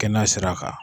Kɛnɛya sira kan